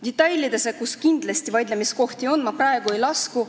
Detailidesse, kus kindlasti vaidlemiskohti on, ma praegu ei lasku.